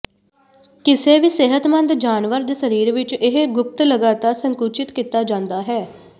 ਕਿਸੇ ਵੀ ਸਿਹਤਮੰਦ ਜਾਨਵਰ ਦੇ ਸਰੀਰ ਵਿੱਚ ਇਹ ਗੁਪਤ ਲਗਾਤਾਰ ਸੰਕੁਚਿਤ ਕੀਤਾ ਜਾਂਦਾ ਹੈ